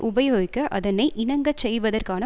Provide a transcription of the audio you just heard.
உபயோகிக்க அதனை இணங்க செய்வதற்கான